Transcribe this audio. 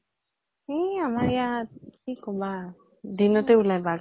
ই আমাৰ ইয়াত, কি কবা । দিনতে ওলাই বাঘ ।